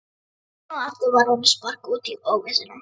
Enn og aftur var honum sparkað út í óvissuna.